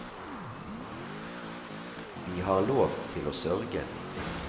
Vi har lov til å sørge.